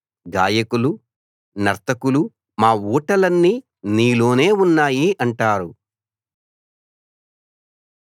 గాయకులు నర్తకులు మా ఊటలన్నీ నీలోనే ఉన్నాయి అంటారు